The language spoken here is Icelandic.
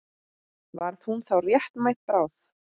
Varð hún þá réttmæt bráð?